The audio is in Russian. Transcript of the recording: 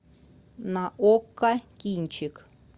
на окко кинчик